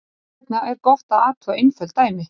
Þess vegna er gott að athuga einföld dæmi.